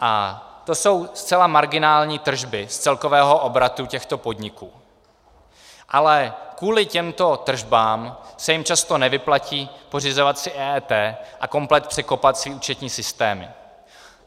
A to jsou zcela marginální tržby z celkového obratu těchto podniků, ale kvůli těmto tržbám se jim často nevyplatí pořizovat si EET a komplet překopat své účetní systémy.